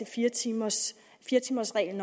fire timer